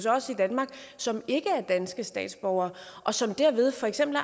os i danmark som ikke er danske statsborgere og som derved for eksempel